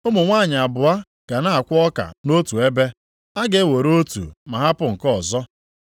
Ụmụ nwanyị abụọ ga na-akwọ ọka nʼotu ebe, a ga-ewere otu ma hapụ nke ọzọ.”